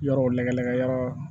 Yɔrɔw lagɛlɛkɛyɔrɔ